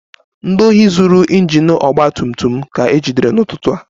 Ndị ohi zuru injin ọgba tum tum m ka ejidere n'ụtụtụ a